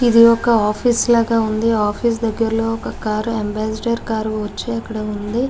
ఇది ఒక ఆఫీస్ లాగా వుంది. ఆఫీస్ దగరాలూ ఒక ఏమ్బ్రద్సర్ కార్ వుంది.